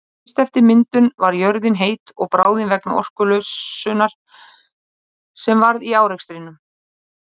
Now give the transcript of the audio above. Fyrst eftir myndun var jörðin heit og bráðin vegna orkulosunar sem varð í árekstrunum.